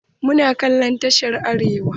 Muna kallon tashar Arewa.